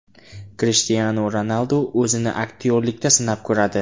Krishtianu Ronaldu o‘zini aktyorlikda sinab ko‘radi.